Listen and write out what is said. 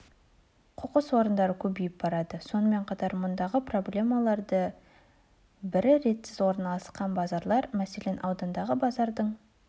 қоқыс орындары көбейіп барады сонымен қатар мұндағы проблемалардың бірі ретсіз орналасқан базарлар мәселен аудандағы базардың